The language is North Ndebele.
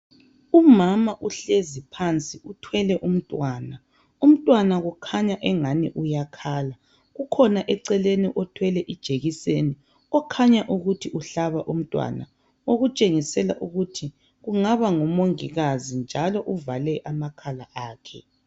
Umama uhlezi phansi uthwele umntwana, umntwana kukhanya engani uyakhala , kukhona eceleni othwele ijekiseni okhanya ukuthi uhlaba umntwana okutshengisela ukuthi engaba ngumongikazi njalo uvale amakhala akhe.